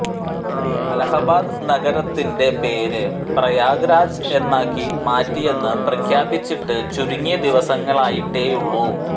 അലഹബാദ് നഗരത്തിന്റെ പേര് പ്രയാഗ് രാജ് എന്നാക്കി മാറ്റിയെന്ന് പ്രഖ്യാപിച്ചിട്ട് ചുരുങ്ങിയ ദിവസങ്ങളായിട്ടേയുള്ളൂ